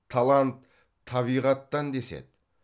талант табиғаттан деседі